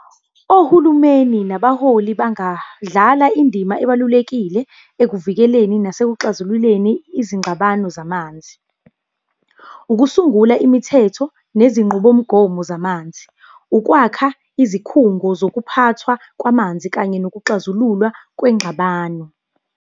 Ohulumeni nabaholi bangadlala indima ebalulekile ekuvikeleni, nasekuxazululeni izingxabano zamanzi. Ukusungula imithetho nezinqubomgomo zamanzi. Ukwakha izikhungo zokuphathwa kwamanzi kanye nokuxazululwa kwezingxabano.